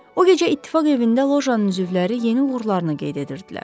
O gecə ittifaq evində lojanın üzvləri yeni uğurlarını qeyd edirdilər.